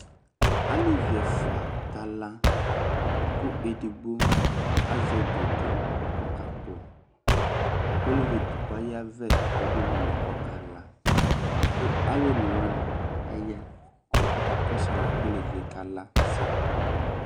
Alevi ɛfua ka la kʋ edigbo azɛ dodo k'ɔka kpɔ, k'olevi edigbo ayavɛ k'ɔdʋ ululi k'ɔka la kʋ alʋ onewani aya kʋ aka kɔsʋ alɛ bua kʋ olevi yɛ ka lasɛ